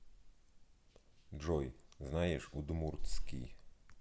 джой знаешь удмуртский